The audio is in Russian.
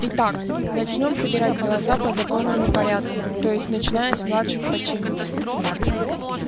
итак начнём собирать голоса по законному порядку то есть начиная с младших по чину